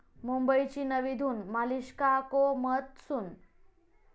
मुंबईची नवी धून, 'मलिष्का को मत सुन'!